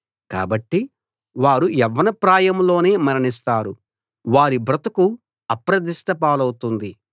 కాబట్టి వారు యవ్వనప్రాయంలోనే మరణిస్తారు వారి బ్రతుకు అప్రదిష్ట పాలవుతుంది